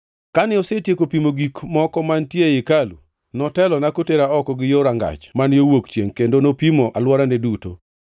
Kane osetieko pimo gik moko mantie ei hekalu, notelona kotera oko gi yo rangach man yo wuok chiengʼ kendo nopimo alworane duto: